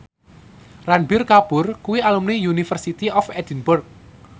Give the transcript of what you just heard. Ranbir Kapoor kuwi alumni University of Edinburgh